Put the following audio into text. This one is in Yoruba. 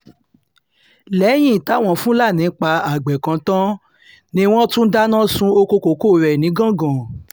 lẹ́yìn táwọn fúlàní pa àgbẹ̀ kan tán ni wọ́n tún dáná sun ọkọ̀ kókó rẹ̀ nìgangan